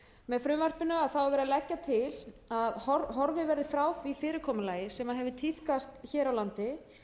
með frumvarpinu er verið að leggja til að horfið verði frá því fyrirkomulagi sem hefur tíðkast hér á landi